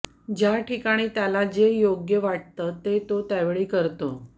ज्या ठिकाणी त्याला जे योग्य वाटतं ते तो त्यावेळी करतो